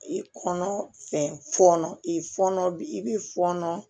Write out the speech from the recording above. I kɔnɔ fɛn fɔnɔ i fɔnɔ bi i b'i fɔnɔ